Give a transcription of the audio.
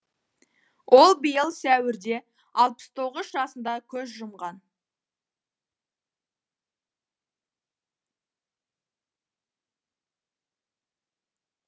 ол биыл сәуірде алпыс тоғыз жасында көз жұмған